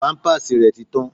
Pampers rẹ ti tán.